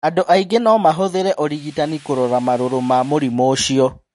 Andũ aingĩ no mahũthĩre ũrigitani kũrora marũrũ ma mũrimũ ũcio.